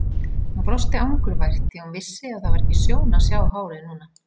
Hún brosti angurvært því hún vissi að það var ekki sjón að sjá hárið núna!